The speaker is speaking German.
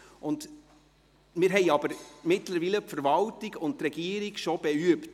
Mittlerweile haben wir aber die Verwaltung und die Regierung bereits damit «beübt».